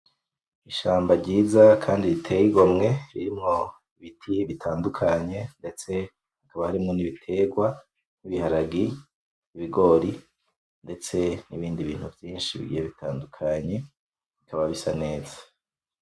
Ishamba ryiza kandi riteye igomwe, ririmwo ibiti bitandukanye, ndetse hakaba harimwo n'ibitegwa , nk'ibihagarge, ibigori , ndetse n'ibindi bintu vyinshi bigiye bitandukanye bikaba bisa neza.